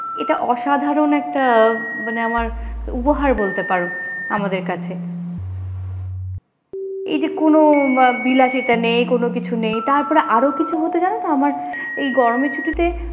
এটা অসাধারণ একটা মানে আমার উপহার বলতে পারো আমাদের কাছে এই যে কোন বিলাসিতা নেই কোন কিছু নেই তারপর আরো কিছু হতো জানো তো আমার এই গরমের ছুটিতে,